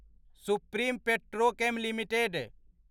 supreme Petrochem limited